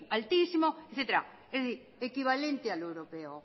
altísimo etcétera es decir equivalente al europeo